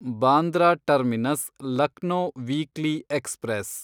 Bandra terminus Lucknow weekly express